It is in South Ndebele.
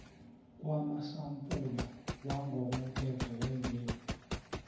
kwamasampula wangokomthetho wembewu